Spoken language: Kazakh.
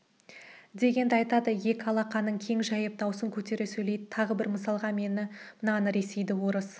дегенді айтады екі алақанын кең жайып даусын көтере сөйледі тағы бір мысалға мен мынаны ресейді орыс